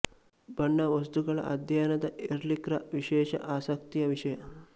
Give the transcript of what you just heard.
ಬಣ್ಣ ವಸ್ತುಗಳ ಅಧ್ಯಯನದ ಎರ್ಲಿಖ್ ರ ವಿಶೇಷ ಆಸಕ್ತಿಯ ವಿಷಯ